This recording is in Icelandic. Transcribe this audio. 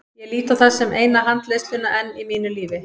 Ég lít á það sem eina handleiðsluna enn í mínu lífi.